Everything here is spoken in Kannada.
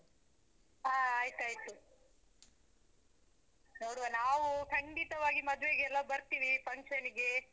ಹಾ ಆಯ್ತಾಯ್ತು. ನೋಡ್ವ ನಾವು ಖಂಡಿತವಾಗಿ ಮದ್ವೆಗೆಲ್ಲಾ ಬರ್ತೀವಿ function ಈಗೆ.